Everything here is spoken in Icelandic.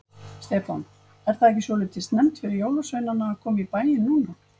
Stefán: Er það ekki svolítið snemmt fyrir jólasveinana að koma í bæinn núna?